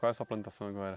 Qual é a sua plantação agora?